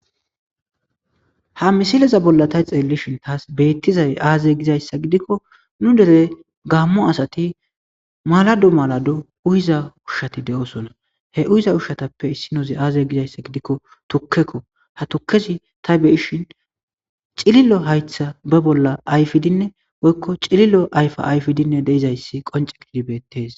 Ha missileza bolla ta xelishin tas bettizayiss aze gizayissa gidikko nu dere gammo asati malado malado uyiza ushshati de'osona he uyiza ushatappe issinozi aze gizayissa gidikko tukeko ha tukezi ta beyishin cililo hayiththa ba bolla ayifidinne woyikko cililo ayifa ayifidi de'izayis qonce gididi bettes